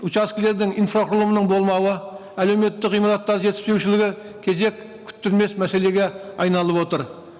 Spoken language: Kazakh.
учаскілердің инфрақұрылымының болмауы әлеуметтік ғимараттар жетіспеушілігі кезек күттірмес мәселеге айналып отыр